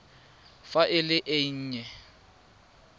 fa e le e nnye